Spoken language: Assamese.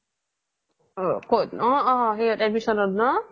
অ অ admission ত ন ?